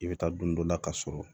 I bɛ taa don dɔ la ka sɔrɔ